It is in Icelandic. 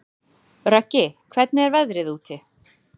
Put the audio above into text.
Röggi, hvernig er veðrið úti?